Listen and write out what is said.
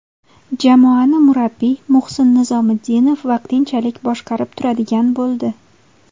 Jamoani murabbiy Muhsin Nizomiddinov vaqtinchalik boshqarib turadigan bo‘ldi.